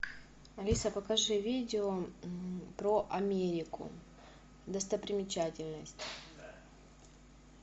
алиса покажи видео про америку достопримечательности